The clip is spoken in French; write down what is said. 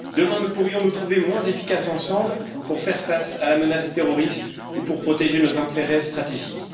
Demain, nous pourrions nous trouver moins efficaces ensemble pour faire face à la menace terroriste ou pour protéger nos intérêts stratégiques.